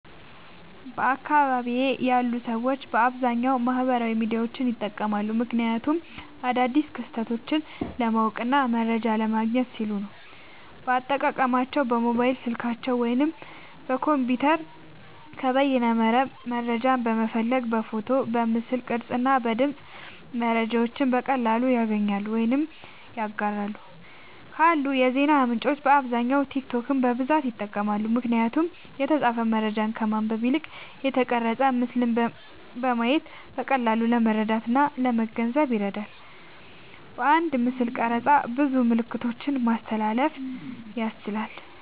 በአካባቢየ ያሉ ሰዎች በአብዛኛዉ ማህበራዊ ሚዲያዎችን ይጠቀማሉ። ምክንያቱም አዳዲስ ክስተቶችን ለማወቅና መረጃ ለማግኘት ሲሉ ነዉ። አጠቃቀማቸዉም በሞባይል ስልካቸዉ ወይም በኮምፒዉተር ከበይነመረብ መረጃን በመፈለግ በፎቶ፣ በምስል ቅርጽ እና በድምጽ መረጃዎችን በቀላሉ ያገኛሉ ወይም ያጋራሉ። ካሉ የዜና ምንጮች በአብዛኛዉ ቲክቶክን በብዛት ይጠቀማሉ። ምክንያቱም የተጻፈ መረጃን ከማንበብ ይልቅ የተቀረጸ ምስልን በማየት በቀላሉ ለመረዳትእና ለመገንዘብ ይረዳል። በአንድ ምስልቅርጽ ብዙ መልክቶችን ማስተላለፍ ያስችላል።